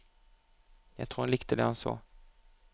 Jeg tror han likte det han så.